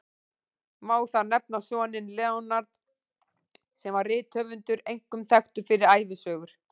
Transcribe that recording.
Má þar nefna soninn Leonard, sem var rithöfundur, einkum þekktur fyrir ævisögur.